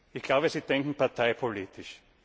Ich glaube, Sie denken parteipolitisch.